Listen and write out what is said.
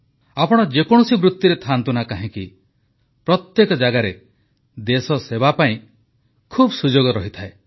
ଆପଣ ଯେକୌଣସି ବୃତ୍ତିରେ ଥାଆନ୍ତୁ ନା କାହିଁକି ପ୍ରତ୍ୟେକ ଜାଗାରେ ଦେଶସେବା ପାଇଁ ବହୁତ ସୁଯୋଗ ରହିଥାଏ